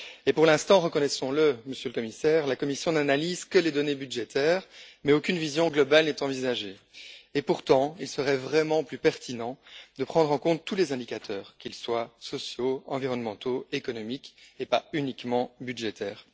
Pour l'instant, reconnaissons le, la Commission n'analyse que les données budgétaires, mais aucune vision globale n'est envisagée. Pourtant, il serait vraiment plus pertinent de prendre en compte tous les indicateurs, qu'ils soient sociaux, environnementaux ou économiques, et pas uniquement budgétaires.